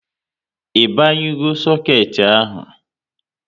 I banyugo soket ahụ?